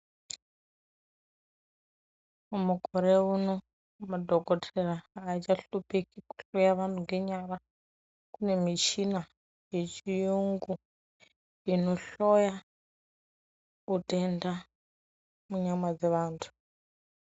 Mukore uno, madhokodheya aachahlupheki kuhloya vanthu ngenyara, kune mishina yechiyungu inohloya utenda munyama dzevanthu.